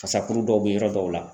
Fasakuru dɔw bɛ yɔrɔ dɔw la